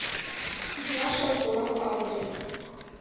два шампура адрес